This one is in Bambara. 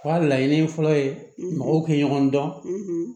U ka laɲini ye fɔlɔ ye mɔgɔw tɛ ɲɔgɔn dɔn